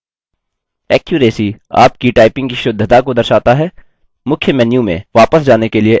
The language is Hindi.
accuracy – आपकी टाइपिंग की शुद्धता को दर्शाता है